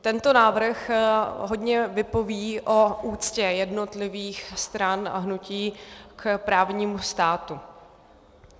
Tento návrh hodně vypoví o úctě jednotlivých stran a hnutí k právnímu státu.